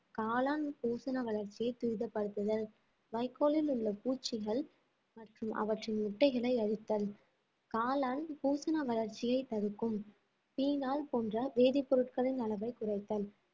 காளான் பூசண வளர்ச்சியை துரிதப்படுத்துதல் வைக்கோலில் உள்ள பூச்சிகள் மற்றும் அவற்றின் முட்டைகளை அழித்தல் காளான் பூசண வளர்ச்சியை தடுக்கும் தீயினால் போன்ற வேதிப்பொருட்களின் அளவே குறைத்தல்